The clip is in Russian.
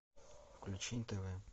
включи нтв